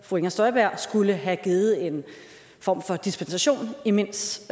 fru inger støjberg skulle have givet en form for dispensation i mints